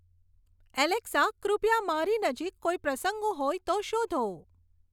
Alexa કૃપયા મારી નજીક કોઈ પ્રસંગો હોય તો શોધો